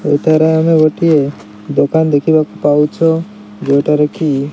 ଏହିଠାରେ ଆମେ ଗୋଟିଏ ଦୋକାନ ଦେଖିବାକୁ ପାଉଛୁ ଯୋଉଠାରେ କି --